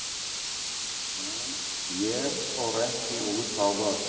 En ég fór ekki út á völl.